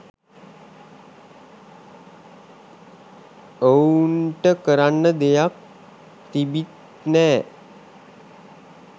ඔව්න්ට කරන්න දෙයක් තිබිත් නෑ